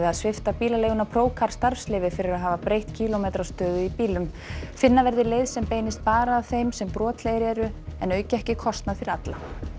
svipta bílaleiguna Procar starfsleyfi fyrir að hafa breytt kílómetrastöðu í bílum finna verði leið sem beinist bara að þeim sem brotlegir eru en auki ekki kostnað fyrir alla